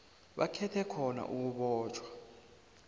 bakhethe khona ukubotjhwa